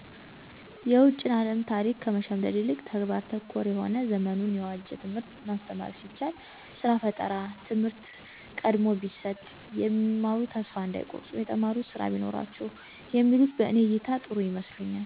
የውጭን አለም ታሪክ ከመሸምደድ ይልቅ ተግባር ተኮር የሆነ ዘመኑን የዋጀ ትምህርት ማስተማር ሲቻል፣ ስራ ፈጠራ ትምህርት ቀድሞ ቢሰጥ፣ የሚማሩት ተስፋ እንዳይቆርጡ የተማሩት ስራ ቢኖራቸው የሚሉት በእኔ እይታ ጥሩ ይመስለኛ።